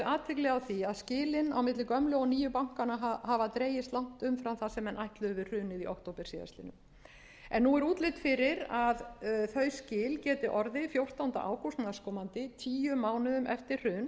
athygli á því að skilin á milli gömlu og nýju bankanna hafa dregist langt umfram það sem menn ætluðu við hrunið í október síðastliðnum nú er útlit fyrir að þau skil geti orðið fjórtánda ágúst næstkomandi tíu mánuðum eftir